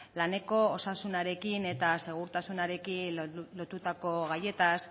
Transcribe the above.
laneko osasunarekin eta segurtasunarekin lotutako gaietaz